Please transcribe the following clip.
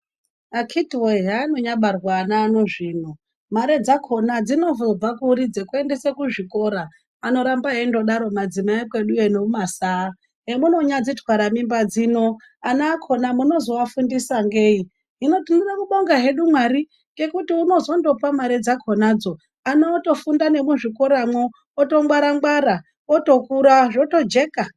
Akiti wee hanonyabarwa ana ano zvino, mare dzakona dzinozobva kuri dzekuendesa kuzvikora. Anoramba eindodaro madzimai ekwedu yo nemumasaa hemunonyadzitwara mimba dzino ana akona munozowafundisa ngei, hino tinoda kubonga hedu mwari ngekuti unozondopa mare dzakona dzo ana otofunda nemuzvikora mwo oto ngwara ngwara otokura zvotojeka.